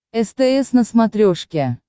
стс на смотрешке